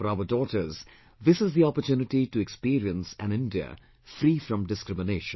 For our daughters this is the opportunity to experience an India free from discrimination